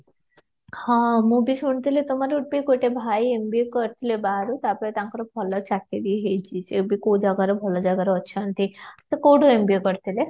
ହଁ ମୁଁ ବି ଶୁଣୁଥିଲି ତମର ବି ଗୋଟେ ଭାଇ MBA କରିଥିଲେ ବାହାରୁ ଆଉ ତାଙ୍କର ଭଲ ଚାକିରି ହେଇଛି ସେ କୋଉ ଜାଗାରେ ଭଲ ଜାଗାରେ ଅଛନ୍ତି ସେ କୋଉଠୁ MBA କରିଥିଲେ?